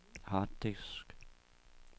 harddisk